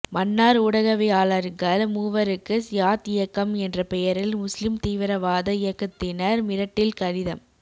மன்னார் ஊடகவியலாளர்கள் மூவருக்கு சியாத் இயக்கம் என்ற பெயரில் முஸ்லீம் தீவிரவாத இயக்கத்தினர் மிரட்டில் கடிதம்